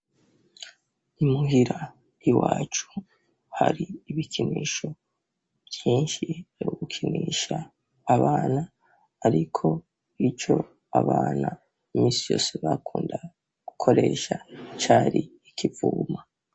Imuhira i wacu hari ibikinisho vyinshi aragukinisha abana, ariko ico abana imisi yose bakunda gukoreesha cari ikivuma.